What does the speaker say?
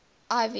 ivy